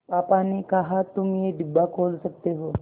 पापा ने कहा तुम ये डिब्बा खोल सकते हो